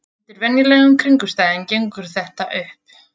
Undir venjulegum kringumstæðum gengur þetta upp.